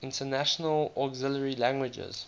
international auxiliary languages